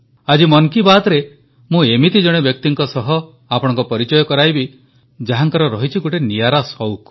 ଆଜି ମନ୍ କି ବାତ୍ରେ ମୁଁ ଏମିତି ଜଣେ ବ୍ୟକ୍ତିଙ୍କ ସହ ଆପଣଙ୍କ ପରିଚୟ କରାଇବି ଯାହାଙ୍କ ରହିଛି ଗୋଟିଏ ନିଆରା ସଉକ